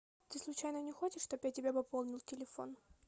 ты случайно не хочешь чтоб я тебе пополнил телефон